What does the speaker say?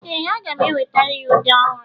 ee, aga m enwetara ya ude ọhụrụ